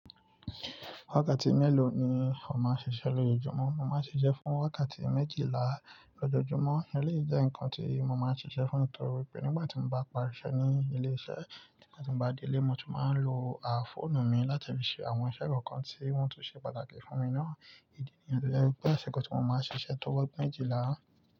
Wákàtí mélòó ni o máa ń ṣiṣẹ́ lójúmọ́? Mo máa ń ṣiṣẹ́ fún wákàtí méjìlá lójoojúmọ́. Eléyìí jẹ́ ǹkan tí mo máa ń ṣiṣẹ́ fún torí pé nígbà tí mo bá parí iṣẹ́ ní ilé iṣẹ́, nígbà tí mo bá dé ilé, mo tún máa ń lo áfóònù mi láti fi ṣe àwọn iṣẹ́ kọ̀ọ̀kan tí wọ́n tún ṣe pàtàkì fún mi ná. Ìdí nìyẹn tó jẹ́ pé ṣégun tí mo máa ń ṣiṣẹ́ tó ọjọ́ méjìlá.